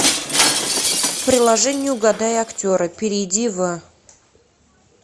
приложение угадай актера перейди в